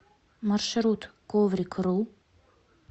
маршрут коврик ру